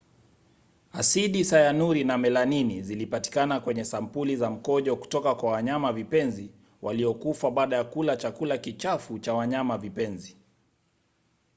asidi sayanuri na melanini zilipatikana kwenye sampuli za mkojo kutoka kwa wanyamavipenzi waliokufa baada ya kula chakula kichafu cha wanyamavipenzi